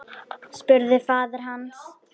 spurði faðir hans.